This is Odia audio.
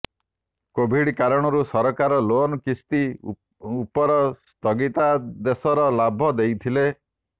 କୋଭିଡ୍ କାରଣରୁ ସରକାର ଲୋନ କିସ୍ତୀ ଉପର ସ୍ଥଗିତାଦେଶର ଲାଭ ଦେଇଥିଲେ